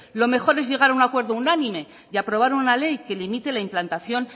lo mejor es llegar a un acuerdo unánime y aprobar una ley que limite la implantación